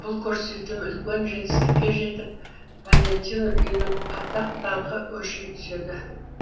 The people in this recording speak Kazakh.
бұл көрсетілім үлкен жетістікке жетіп валентино үйінің атақ даңқы өрши түседі